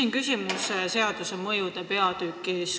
Ma küsin seaduse mõjude kohta.